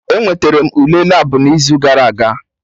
Enweterem m Ule Labụ m n'izu gara aga